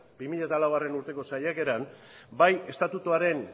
bi mila laugarrena urteko saiakaeran bai estatutuaren